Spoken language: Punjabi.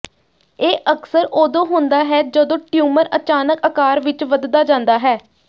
ਇਹ ਅਕਸਰ ਉਦੋਂ ਹੁੰਦਾ ਹੈ ਜਦੋਂ ਟਿਊਮਰ ਅਚਾਨਕ ਆਕਾਰ ਵਿਚ ਵੱਧਦਾ ਜਾਂਦਾ ਹੈ